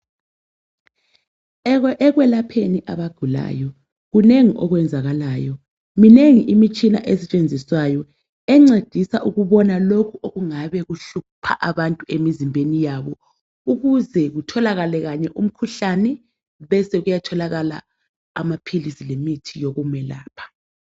Ekwelapheni abagulayo kunengi okwenzakalayo minengi imitshina esetshenziswayo encedisa ukubona lokho okungabe kuhlupha abantu emizimbeni yabo ukuze kutholakale kanye umkhuhlane besokuya tholakala amaphilisi lemithi yokumelapha.